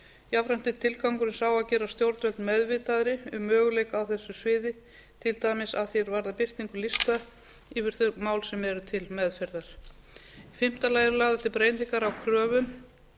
jafnframt er tilgangurinn sá að gera stjórnvöld meðvitaðri um möguleika á þessu sviði til dæmis að því er varðar birtingu lista yfir þau mál sem eru til meðferðar í fimmta lagi eru lagðar til breytingar á kröfum